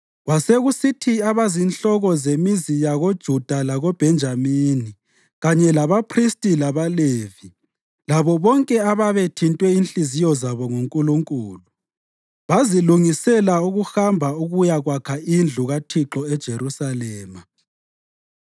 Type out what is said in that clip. Kwasekusithi abazinhloko zemizi yakoJuda lakoBhenjamini, kanye labaphristi labaLevi, labo bonke ababethintwe inhliziyo zabo nguNkulunkulu, bazilungisela ukuhamba ukuyakwakha indlu kaThixo eJerusalema.